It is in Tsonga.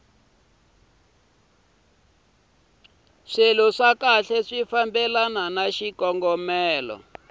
kahle swi fambelana na xikongomelo